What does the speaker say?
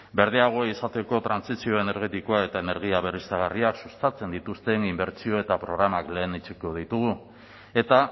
berdeagoak izateko trantsizio energetikoa eta energia berriztagarriak sustatzen dituzten inbertsio eta programak lehenetsiko ditugu eta